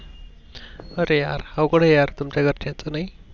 अरे यार अवघट आहे यार तुमच्या घरच्यांचं नाही.